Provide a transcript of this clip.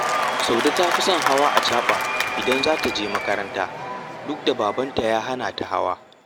Saude ta fi son hawa acaɓa idan za ta je makaranta, duk da babanta ya hana ta hawa